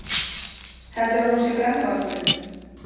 Heldurðu að hún sé brennuvargurinn?